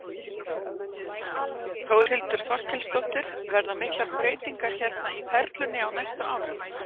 Þórhildur Þorkelsdóttir: Verða miklar breytingar hérna í Perlunni á næstu árum?